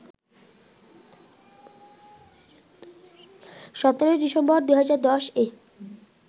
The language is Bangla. ১৭ ডিসেম্বর, ২০১০-এ